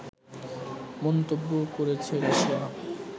মন্তব্য করেছে রাশিয়া